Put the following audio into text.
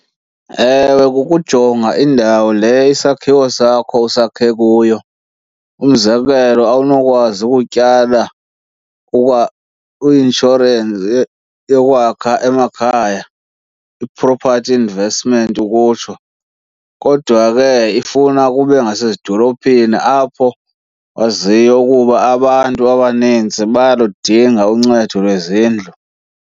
Ewe, kukujonga indawo le isakhiwo sakho usakhe kuyo. Umzekelo awunokwazi ukutyala i-inshorensi yokwakha emakhaya, i-property investment ukutsho, kodwa ke ifuna kube ngasezidolophini apho waziyo ukuba abantu abanintsi bayaludinga uncedo lwezindlu.